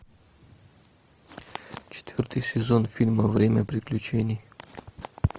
четвертый сезон фильма время приключений